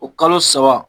O kalo saba